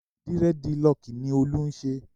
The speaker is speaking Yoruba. Dírẹ́dilọọkì ni Olú ń ṣe.